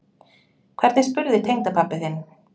Hvernig spurði tengdapabbi þinn?